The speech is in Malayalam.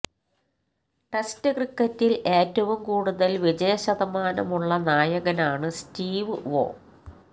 ടെസ്റ്റ് ക്രിക്കറ്റിൽ ഏറ്റവും കൂടൂതൽ വിജയ ശതമാനം ഉള്ള നായകനാണ് സ്റ്റീവ് വോ